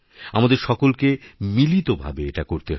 আমাদের সকলকে মিলিতভাবে এটা করতে হবে